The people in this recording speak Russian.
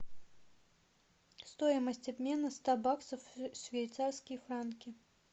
стоимость обмена ста баксов в швейцарские франки